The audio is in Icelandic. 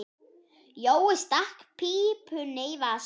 Jói stakk pípunni í vasann.